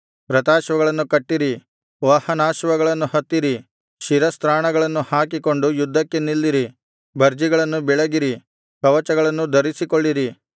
ರಥಾಶ್ವಗಳನ್ನು ಕಟ್ಟಿರಿ ವಾಹನಾಶ್ವಗಳನ್ನು ಹತ್ತಿರಿ ಶಿರಸ್ತ್ರಾಣಗಳನ್ನು ಹಾಕಿಕೊಂಡು ಯುದ್ಧಕ್ಕೆ ನಿಲ್ಲಿರಿ ಭರ್ಜಿಗಳನ್ನು ಬೆಳಗಿರಿ ಕವಚಗಳನ್ನು ಧರಿಸಿಕೊಳ್ಳಿರಿ